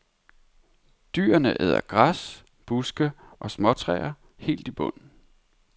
Dyrene æder græs, buske og småtræer helt i bund.